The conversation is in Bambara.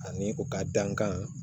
Ani u ka dankan